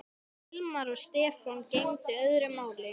Um Hilmar og Stefán gegndi öðru máli.